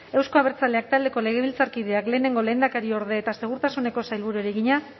euzko abertzaleak taldeko legebiltzarkideak lehenengo lehendakariorde eta segurtasuneko sailburuari egina